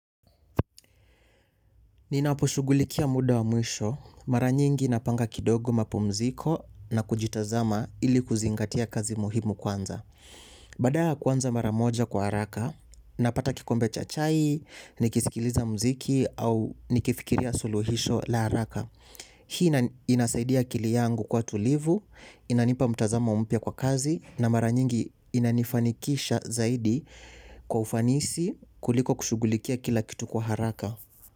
Ninaposhugulikia muda wa mwisho, mara nyingi napanga kidogo mapumziko na kujitazama ili kuzingatia kazi muhimu kwanza. Badala ya kwanza mara moja kwa haraka, napata kikombe cha chai, nikisikiliza mziki au nikifikiria suluhisho la haraka. Hii inasaidia akili yangu kuwa tulivu, inanipa mtazamo mpya kwa kazi na mara nyingi inanifanikisha zaidi kwa ufanisi kuliko kushugulikia kila kitu kwa haraka.